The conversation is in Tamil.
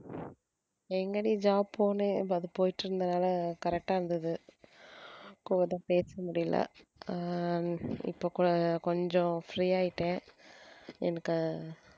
எங்கடி job போனேன் அது போயிட்டு இருந்தனால correct ஆ இருந்தது பேசமுடில அஹ் இப்போ கொ~ கொஞ்சம் free ஆயிட்டேன் எனக்கு